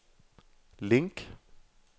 link